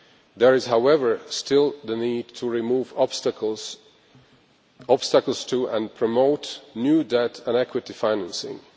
There is, however, still a need to remove obstacles to and to promote new debt and equity financing.